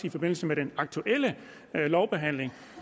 i forbindelse med den aktuelle lovbehandling